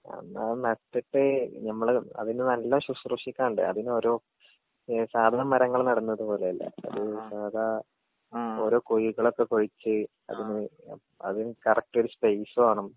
അന്നത് നട്ടിട്ട് നമ്മള് അതിന് നല്ലോം ശുശ്രൂഷിക്കാണ്ട് അതിനോരോ ഏ സാധാ മരങ്ങള് നടുന്നത് പോലെയല്ല ഒരു സാധാ ഓരോ കുഴികളൊക്കെ കുഴിച്ച് അതിന് ആ അതിന് കറക്ട്ടൊരു സ്പേസ് വേണം.